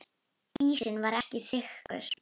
Ísinn var ekki þykkur.